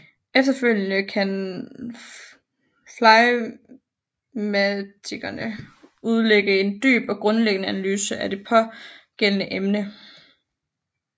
Efterfølgende kan flegmatikeren udlægge en dyb og grundig analyse af det pågældende emne